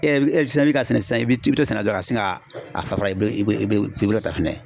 E fɛnɛ bɛ ka sɛnɛ san i bi taa sɛnɛ dɔrɔn ka sin ka a fara i be ta fɛnɛ